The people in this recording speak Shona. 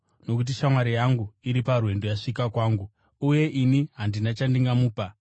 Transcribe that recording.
nokuti shamwari yangu iri parwendo yasvika kwangu, uye ini handina chandingamupa.’